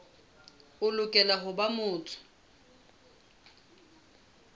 o lokela ho ba motho